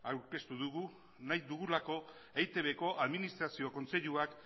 aurkeztu dugu nahi dugulako eitbko administrazio kontseiluak